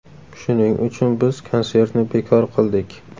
Shuning uchun biz konsertni bekor qildik.